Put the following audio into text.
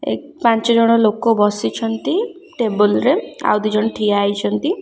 ଏ ପାଞ୍ଚ ଜଣ ଲୋକ ବସିଛନ୍ତି ଟେବଲ ରେ ଆଉ ଦି ଜଣ ଠିଆ ହେଇଛନ୍ତି।